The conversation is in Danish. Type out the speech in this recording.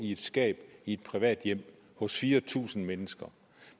i et skab i et privat hjem hos fire tusind mennesker